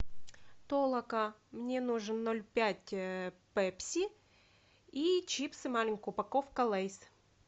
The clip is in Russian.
толока мне нужен ноль пять пепси и чипсы маленькая упаковка лейс